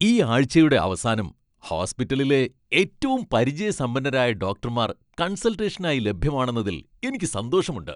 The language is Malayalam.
ഈ ആഴ്ചയുടെ അവസനം ഹോസ്പിറ്റലിലെ ഏറ്റവും പരിചയസമ്പന്നരായ ഡോക്ടർമാർ കൺസൾട്ടേഷനായി ലഭ്യമാണെന്നതിൽ എനിക്ക് സന്തോഷമുണ്ട്.